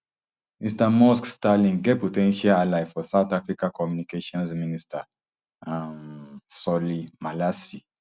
mr musk starlink get po ten tial ally for south africa communications minister um solly malatsi